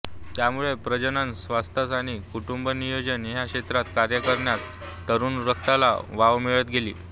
त्यामुळे प्रजनन स्वास्थ्य आणि कुटुंबनियोजन या क्षेत्रात कार्य करण्यास तरुण रक्ताला वाव मिळत गेली